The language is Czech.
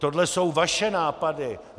Tohle jsou vaše nápady.